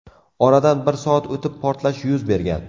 Oradan bir soat o‘tib portlash yuz bergan.